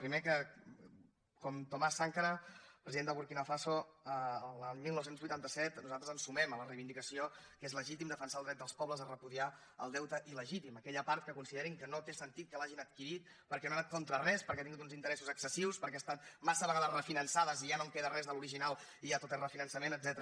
primer que com thomas sankara president de burkina faso el dinou vuitanta set nosaltres ens sumem a la reivindicació que és legítim defensar el dret dels pobles a repudiar el deute il·legítim aquella part que considerin que no té sentit que l’hagin adquirit perquè no ha anat contra res perquè ha tingut uns interessos excessius perquè ha estat massa vegades refinançat i ja no en queda res de l’original i ja tot és refinançament etcètera